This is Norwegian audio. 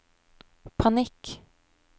panikk